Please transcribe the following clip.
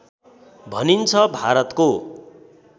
भनिन्छ भारतको